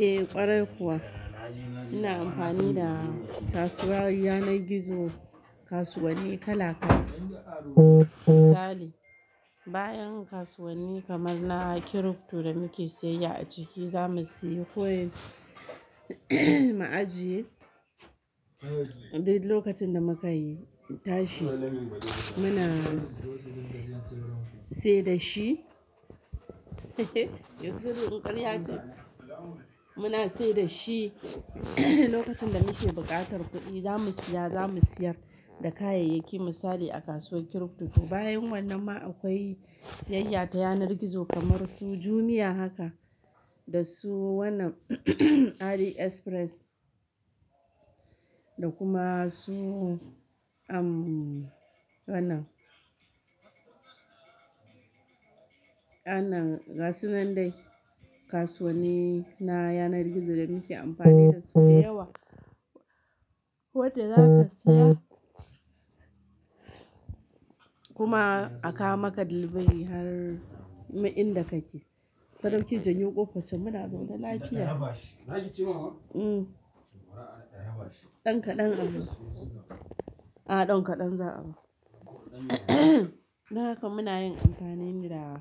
Eh ƙwarai kuwa, ina amfani da kasuwar yanar gizo, kasuwanni kala kala. Misali, bayan kasuwanni kamar na crypto da muke sayayya a ciki, zamu sayi coin, mu ajiye, duk lokacin da mukai tashi, Muna sai da shi, yanzu wannan in ƙarya ce? Muna sai da shi lokacin da muke buƙatar kuɗi, zamu siya, zamu siyar, da kayayyaki misali a kasuwar crypto. Bayan wannan ma akwai siyayya ta yanar gizo kamar su Jumia haka, da su wannan, AliExpress da kuma su, umm, wannan Wannan, gasu nan dai kasuwanni na yanar gizo da muke amfani da su da yawa. Wadda za ka saya, kuma a kawo maka delivery har inda kake. Sadauki jan yo ƙofaccan muna zaune lafiya. Hmm, ɗan kaɗan a rufe. A'a ɗan kaɗan za a rufe. Don haka muna yin amfani ne da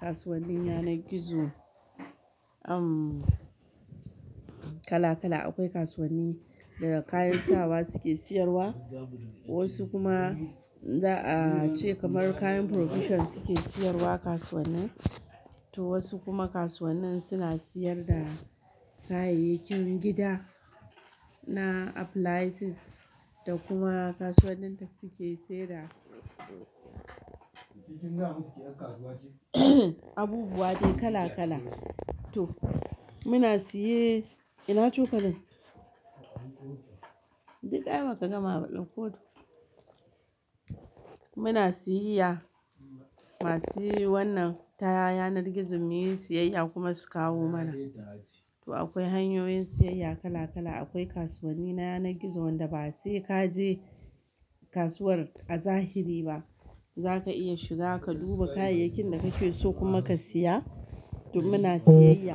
kasuwannin yanar gizo, umm, kala kala, Akwai kasuwanni da kayan sawa suke siyarwa, wasu kuma za a ce kamar kayan provision suke siyarwa kasuwannin. To wasu kuma kasuwannin suna siyar da kayayyakin gida na appliances, da kuma kasuwannin da suke sai da, abubuwa dai kala kala. To muna siye, ina cokalin? Duk ai ba ka gama ba ɗakko to. Muna siyayya, masu wannan, ta yanar gizon mu yi siyayya kuma su kawo mana. To akwai hanyoyin siyayya kala kala, akwai kasuwanni na yanar gizo wanda ba sai ka je kasuwar a zahiri ba, Za ka iya shiga ka duba kayayyakin da kake so kuma ka siya, to muna siyayya.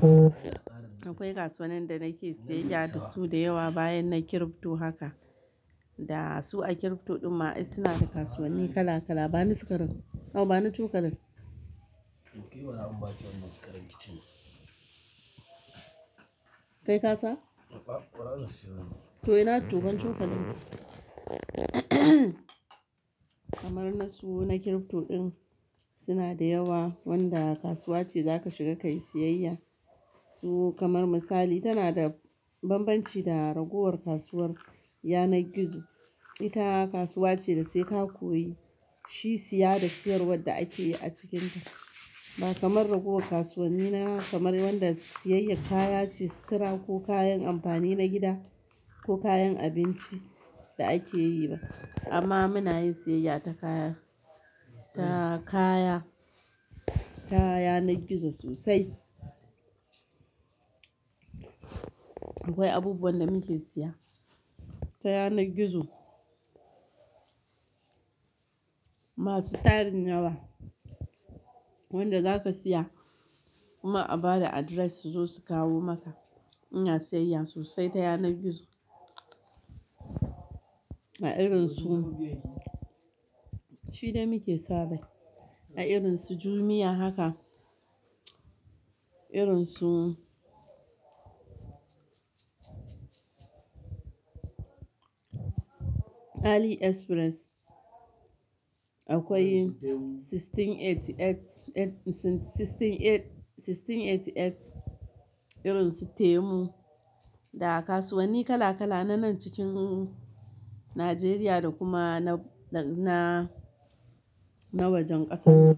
Akwai kasuwannin da nake siyayya da su da yawa bayan na crypto haka. Da su a crypto ɗin ma ai suna da kasuwanni kala kala. Ba ni sikarin, Aw ba ni cokalin. Kai kasa? To ina, to ban cokalin. Kamar na su na crypto ɗin, suna da yawa wanda kasuwa ce za ka shiga kayi siyayya. Su kamar misali tana da banbanci da ragowar kasuwar yanar gizo. Ita kasuwa ce da sai ka koyi shi siya da siyarwar da ake yi a cikinta. Ba kamar ragowar kasuwanni na kamar wanda siyayyar kaya ce, sutura ko kayan amfani na gida ko kayan abinci, da ake yi ba. Amma muna yin siyayya ta kaya, ta kaya, ta yanar gizo sosai. Akwai abubuwan da muke siya, ta yanar gizo. Masu tarin yawa, wanda za ka siya kuma a ba da address su zo su kawo maka. Ina siyayya sosai ta yanar gizo. Ma irin su, shi dai muke sabai. A irin su Jumia haka. Irin su AliExpress. Akwai 1688, 1688 irin su Temu. Da kasuwanni kala kala na nan cikin Nigeriya, da kuma na, na, na wajen ƙasar.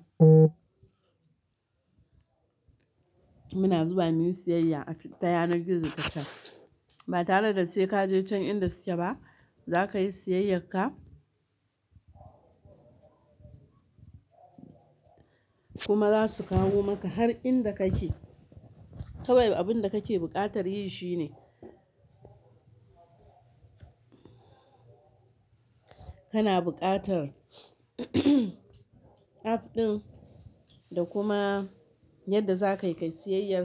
Muna zuwa muyi siyayya a cikin, ta yanar gizo tacan. Ba tare da sai ka je can inda suke ba, Za ka yi siyayyar ka, kuma za su kawo maka har inda kake. Kawai abun da kake buƙatar yi shi ne, kana buƙatar, app ɗin da kuma yadda za ka yi ka yi siyayyar,